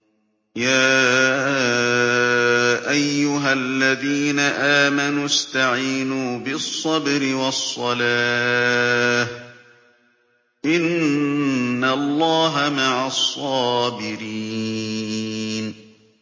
يَا أَيُّهَا الَّذِينَ آمَنُوا اسْتَعِينُوا بِالصَّبْرِ وَالصَّلَاةِ ۚ إِنَّ اللَّهَ مَعَ الصَّابِرِينَ